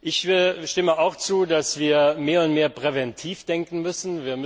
Ich stimme auch zu, dass wir mehr und mehr präventiv denken müssen.